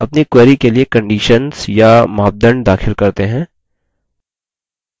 चलिए अपनी query के लिए conditions या मापदंड दाखिल करते हैं